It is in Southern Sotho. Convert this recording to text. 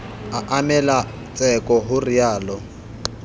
a emelwa tseko ho realo